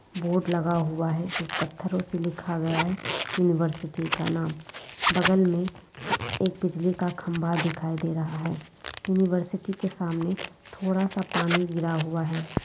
Board लगा हुआ है जिस पत्थरो से लिखा गया है यूनिवर्सिटी का नाम बगल में एक बिजली का खंबा दिखाई दे रहा है यूनिवर्सिटी के सामने थोड़ा सा पानी गिरा हुआ है।